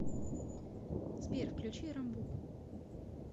сбер включи рамбуку